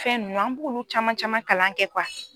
Fɛn nunnu an b'olu caman caman kalan kɛ kuwa